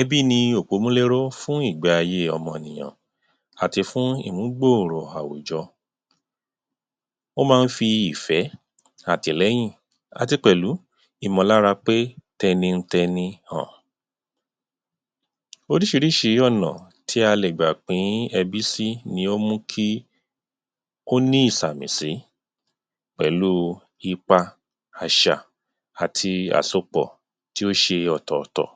Ẹbí ni òpòmúléró fún ìgbé-ayé ọmọnìyàn àti fún ìmú gbòrò àwùjọ, ó máa ń fi ìfẹ́, àtìlẹ́yìn àti pẹ̀lú, ìmọ̀lára pé tẹnitẹni um. Oríṣìíríṣìí ọ̀nà tí a lè gbà pín ẹbí sí ni ó mú kí ó ní ìsàmì sí pẹ̀lú ipa, àṣà àti àsopọ̀ tí ó ṣe ọ̀tọ̀tọ̀.